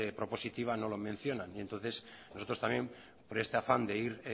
prepositiva no lo mencionan entonces nosotros también por este afán de ir